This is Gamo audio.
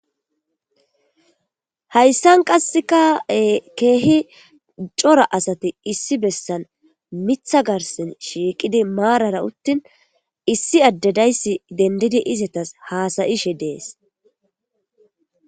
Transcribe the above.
Hayssan qasseka keehi cora asati issi bessan mitha garsen shiiqidi maarara uttin issi addedayssi dendidi izetas haasayishe dees.